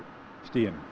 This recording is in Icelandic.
stíginn